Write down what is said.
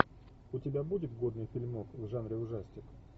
у тебя будет годный фильмок в жанре ужастик